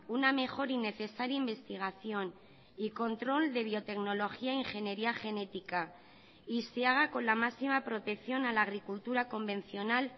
una mejor y necesaria investigación y control de biotecnología ingeniería genética y se haga con la máxima protección a la agricultura convencional